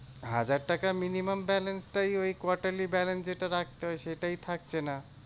হাজার টাকা minimum balance টাই ওই quarterly balance যেটা রাখতে হয় সেটাই থাকছে না।